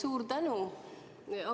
Suur tänu!